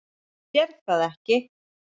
Sérð það ekki.